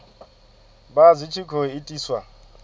vha zwi tshi khou itiswa